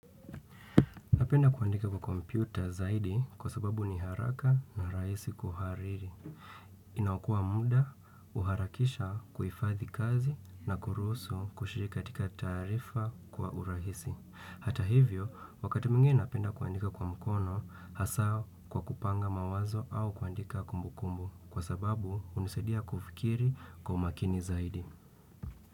Napenda kuandika kwa kompyuta zaidi kwa sababu ni haraka na rahisi kuhariri. Inakoa muda huharakisha kuifadhi kazi na kurusu kushiri katika tarifa kwa urahisi. Hata hivyo, wakati mwingine napenda kuandika kwa mkono hasa kwa kupanga mawazo au kuandika kumbu kumbu kwa sababu hunisadiya kufikiri kwa umakini zaidi.